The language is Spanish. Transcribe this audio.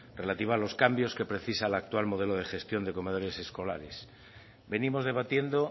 relativa a los cambios que precisa el actual modelo de gestión de comedores escolares venimos debatiendo